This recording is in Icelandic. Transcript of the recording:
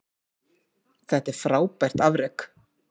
Það er frábært afrek.